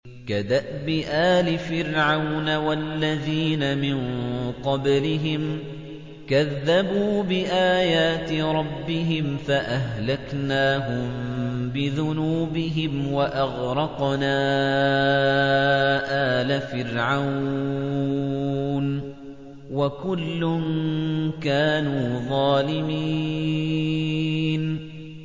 كَدَأْبِ آلِ فِرْعَوْنَ ۙ وَالَّذِينَ مِن قَبْلِهِمْ ۚ كَذَّبُوا بِآيَاتِ رَبِّهِمْ فَأَهْلَكْنَاهُم بِذُنُوبِهِمْ وَأَغْرَقْنَا آلَ فِرْعَوْنَ ۚ وَكُلٌّ كَانُوا ظَالِمِينَ